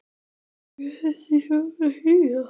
Hvað eiga þessi hróp að þýða?!